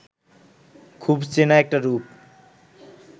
খুব চেনা একটা রূপ